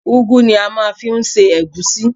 Ugwu ni a máa ń fi ń ṣe egusi.